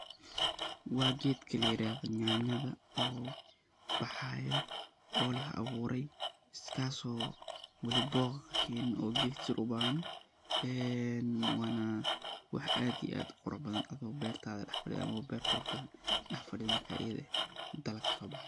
Wa keetka la yeeradah nyanyatha, oo baxayoo oo lagu daax abuuray kasoo wali booq keenin oo keet tuuroban eeena wax aad iyo aad u quuraxbathan abow beertatha waxy quuruxbathantahay ,dax faadeeyo marka eyada eeh hadana kasubaxaya.